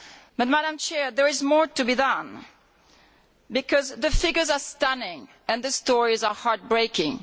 But there is more to be done, because the figures are stunning and the stories are heartbreaking.